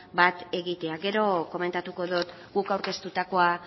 bat egitea gero komentatuko dut guk aurkeztutakoa